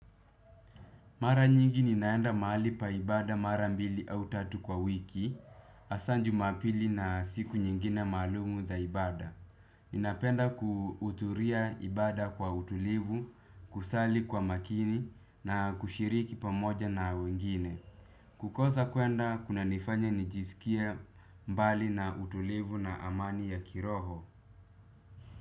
Mara nyingi ninaenda mahali pa ibada mara mbili au tatu kwa wiki, hasaa Jumapili na siku nyingine maalum za ibada. Ninapenda kuhudhuria ibada kwa utulivu, kusali kwa makini na kushiriki pamoja na wengine. Kukosa kuenda, kunanifanya nijisikie mbali na utulivu na amani ya kiroho.